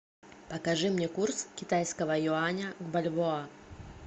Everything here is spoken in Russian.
покажи мне курс китайского юаня в бальбоа